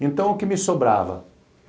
Então, o que me sobrava?